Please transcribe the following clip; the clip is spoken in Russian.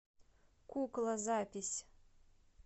кукла запись